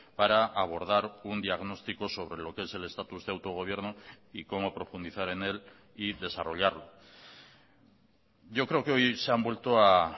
para abordar un diagnóstico sobre lo que es el estatus de autogobierno y cómo profundizar en él y desarrollarlo yo creo que hoy se han vuelto a